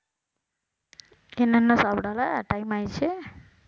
என்ன இன்னும் சாப்பிடல time ஆயிடுச்சு